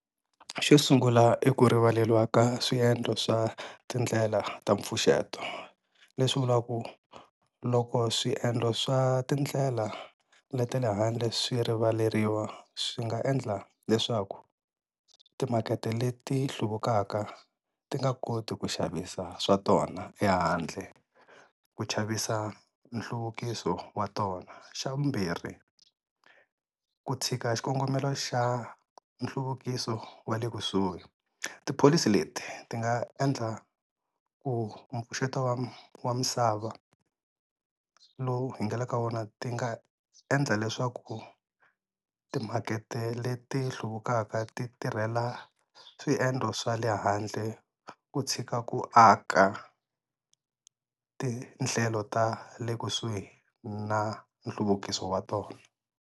Xo sungula i ku rivaleriwa ka swiendlo swa tindlela ta mpfuxeto leswi vulaku loko swiendlo swa tindlela le ta le handle swi rivaleriwa swi nga endla leswaku timakete leti hluvukaka ti nga koti ku xavisa swa tona ehandle, ku chavisa nhluvukiso wa tona. Xa vumbirhi ku tshika xikongomelo xa nhluvukiso wa le kusuhi tipholisi leti ti nga endla ku mpfuxeto wa misava lowu hi nge le ka wona ti nga endla leswaku ku timakete leti hluvukaka ti tirhela swiendlo swa le handle ku tshika ku aka tindlelo ta le kusuhi na nhluvukiso wa tona.